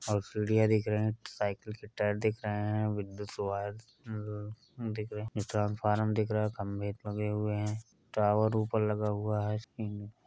और सीढ़ियाँ दिख रहे हैं साइकिल के टायर दिख रहे हैं ट्रांस्फारम दिख रहा है। खंभे लगे हुए हैं टावर ऊपर लगा हुवा है स्क्रीन --